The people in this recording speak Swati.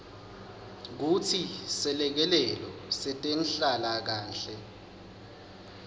kutsi selekelelo setenhlalakanhle